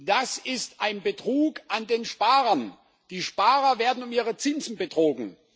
Das ist ein Betrug an den Sparern. Die Sparer werden um ihre Zinsen betrogen.